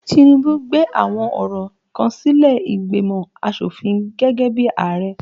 Tinubu gbé àwọn ọ̀rọ̀ kan sílé ìgbìmò asofin gẹ́gẹ́ bí Ààrẹ